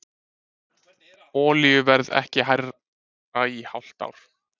Olíuverð ekki hærra í hálft ár